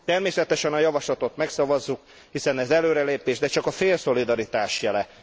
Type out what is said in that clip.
Természetesen a javaslatot megszavazzuk, hiszen ez előrelépés, de csak a fél szolidaritás jele.